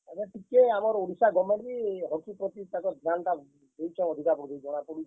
ଏଭେ ଟିକେ ଆମର୍ ଓଡିଶା goverment ବି Hockey ପ୍ରତି ତାଙ୍କର୍ ଧ୍ୟାନ୍ ଟା ଦେଉଛେ ଅଧିକା ବୋଲି ଜନା ପଡୁଛେ।